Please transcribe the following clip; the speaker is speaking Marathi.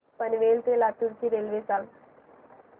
पनवेल ते लातूर ची रेल्वे सांगा